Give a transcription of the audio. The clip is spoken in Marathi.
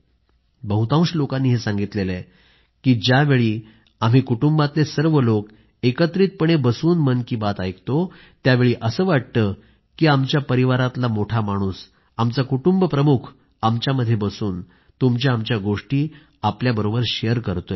बहुतांश लोकांनी हे सांगितलं आहे की ज्यावेळी आम्ही कुटुंबातले सर्व लोक एकत्रितपणे बसून मन की बात ऐकतो त्यावेळी असं वाटतं की आमच्या परिवारामधला मोठा माणूस आमचा कुटुंबप्रमुख आमच्यामध्ये बसून तुमच्याआमच्या गोष्टी आपल्याबरोबर शेअर करतोय